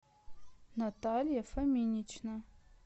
наталья фоминична